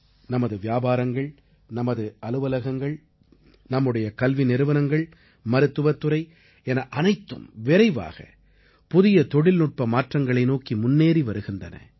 நமது வியாபாரங்கள் நமது அலுவலகங்கள் நம்முடைய கல்வி நிறுவனங்கள் மருத்துவத்துறை என அனைத்தும் விரைவாக புதிய தொழில்நுட்ப மாற்றங்களை நோக்கி முன்னேறி வருகின்றன